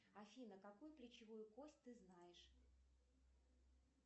афина какую плечевую кость ты знаешь